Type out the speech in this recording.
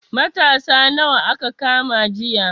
Matasa nawa aka kama jiya?